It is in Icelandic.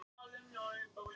Hvað segið þið?